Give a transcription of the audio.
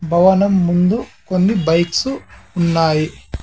భవనం ముందు కొన్ని బైక్స్ ఉన్నాయి .